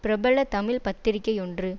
பிரபல தமிழ் பத்திரிகையொன்று